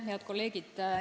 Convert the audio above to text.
Head kolleegid!